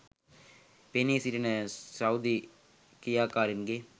පෙනී සිටින සෞදි ක්‍රියාකාරීන්ගේ